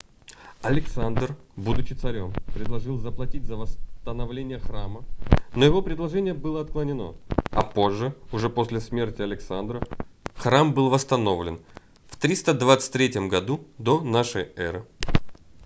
александр будучи царём предложил заплатить за восстановление храма но его предложение было отклонено а позже уже после смерти александра храм был восстановлен в 323 году до нашей эры